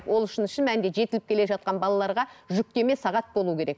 ол үшін шын мәнінде жетіліп келе жатқан балаларға жүктеме сағат болу керек